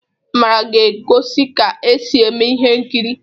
Amara ga-egosi ka esi eme ihe nkiri'